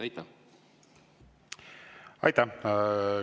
Aitäh!